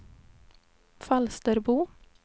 Falsterbo